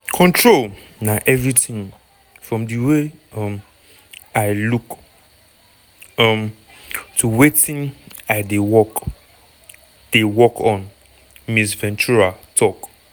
"control na everything from di way um i look um to wetin i dey work dey work on" ms ventura tok.